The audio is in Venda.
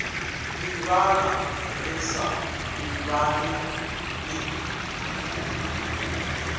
ḓivhana ri sa ḓivhani ni